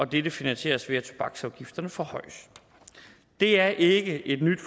dette finansieres ved at tobaksafgifterne forhøjes det er ikke et nyt